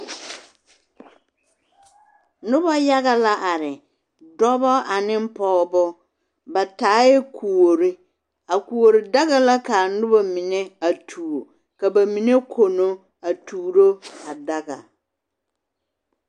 Noba yaga la are dɔba ane pɔgeba ba taae kuori a kuori daga la ka a noba mine a tuo ka ba mine kono a tuuro a daga.